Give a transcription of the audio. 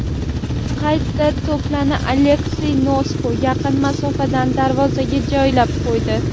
Qaytgan to‘pni Aleksey Nosko yaqin masofadan darvozaga joylab qo‘ydi.